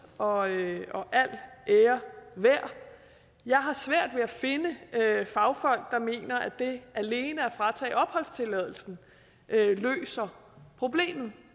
og al ære værd jeg har svært ved at finde fagfolk der mener at det alene at fratage opholdstilladelsen løser problemet